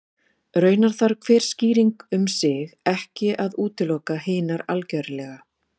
Raunar þarf hver skýring um sig ekki að útiloka hinar algerlega.